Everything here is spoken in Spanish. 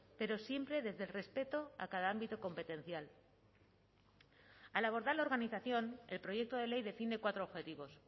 pero siempre desde el respeto a cada ámbito competencial al abordar la organización el proyecto de ley define cuatro objetivos